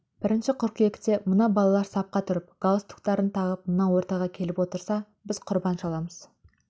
бірінші қыркүйекте мына балалар сапқа тұрып галстуктарын тағып мына ортаға келіп отырса біз құрбан шаламыз